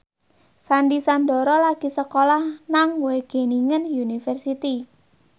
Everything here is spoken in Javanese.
Sandy Sandoro lagi sekolah nang Wageningen University